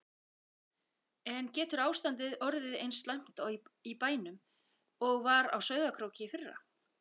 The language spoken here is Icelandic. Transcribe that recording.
En getur ástandið orðið eins slæmt í bænum og var á Sauðárkróki í fyrra?